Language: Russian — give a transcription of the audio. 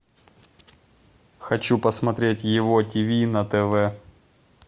хочу посмотреть его ти ви на тв